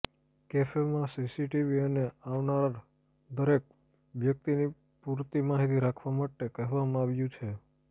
કેફેમાં CCTV અને આવનાર દરેક વ્યક્તિની પુરતી માહિતી રાખવા માટે કહેવામાં આવ્યુ છે